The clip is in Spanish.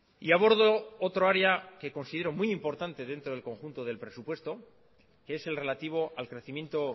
y abordo otro área que considero muy importante dentro del conjunto del presupuesto que es el relativo al crecimiento